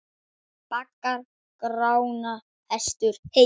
Baggar Grána hestur heys.